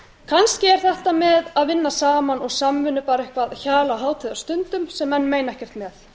kannski er þetta með að vinna saman og samvinnu bara eitthvað hjal á hátíðarstundum sem menn meina ekkert með